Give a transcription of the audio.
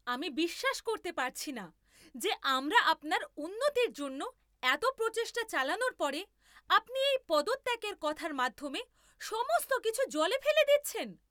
আমি বিশ্বাস করতে পারছি না যে আমরা আপনার উন্নতির জন্য এত প্রচেষ্টা চালানোর পরে আপনি এই পদত্যাগের কথার মাধ্যমে সমস্ত কিছু জলে ফেলে দিচ্ছেন।